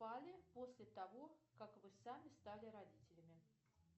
после того как вы сами стали родителями